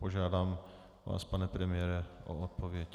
Požádám vás, pane premiére, o odpověď.